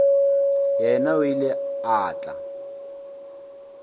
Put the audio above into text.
yena o ile a tla